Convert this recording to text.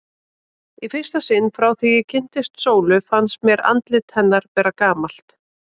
Í fyrsta sinn frá því ég kynntist Sólu fannst mér andlit hennar vera gamalt.